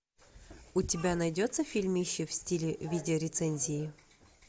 у тебя найдется фильмище в стиле видео рецензии